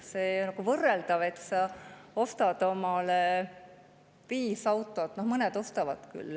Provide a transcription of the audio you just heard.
See on nagu võrreldav sellega, et sa ostad omale viis autot – no mõned ostavad küll.